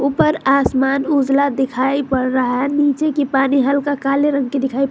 ऊपर आसमान उजाला दिखाई पड़ रहा है नीचे की पानी हल्का काले रंग की दिखाइ प--